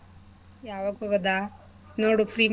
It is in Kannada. ಯಾವಾಕ್ ಹೋಗದಾ? ನೋಡು free ಮಾಡ್ಕೊ.